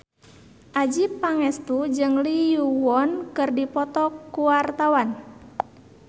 Adjie Pangestu jeung Lee Yo Won keur dipoto ku wartawan